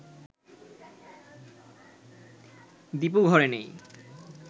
দীপু ঘরে নেই